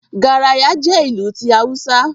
Garaya jẹ́ ìlù ti Awúsá